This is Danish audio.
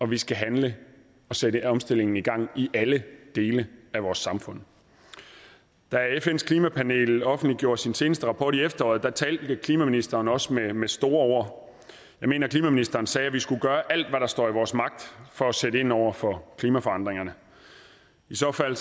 vi skal handle og sætte omstillingen i gang i alle dele af vores samfund da fns klimapanel offentliggjorde sin seneste rapport i efteråret talte klimaministeren også med med store ord jeg mener at klimaministeren sagde at vi skulle gøre alt hvad der stod i vores magt for at sætte ind over for klimaforandringerne i så fald